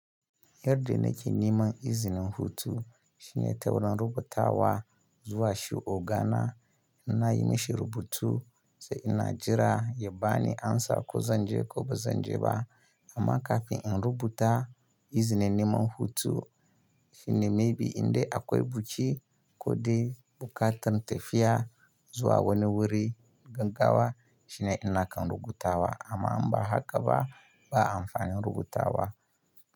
Yarɗa da nake niman izinin hutu shine taurin rubutawa zuwa shi ogana in na yi mishi rubutu sai ina jira ya bani amsa ko zanje ko bazanje ba amma kafin in rubuta izinin niman hutu shine maybe in dai akwai buki ko dai buƙatan tafiya zuwa wani wuri gaggawa shine ina kan rubutawa amma in ba haka ba ba amfani rubutawa.